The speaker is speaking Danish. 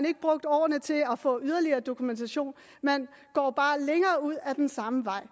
ikke brugt årene til at få yderligere dokumentation man går bare længere ud ad den samme vej